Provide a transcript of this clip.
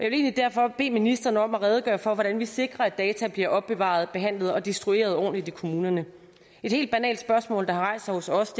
egentlig derfor bede ministeren om at redegøre for hvordan vi sikrer at data bliver opbevaret behandlet og destrueret ordentligt i kommunerne et helt banalt spørgsmål der har rejst sig hos os